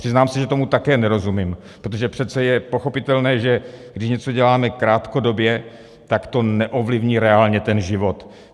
Přiznám se, že tomu také nerozumím, protože přece je pochopitelné, že když něco děláme krátkodobě, tak to neovlivní reálně ten život.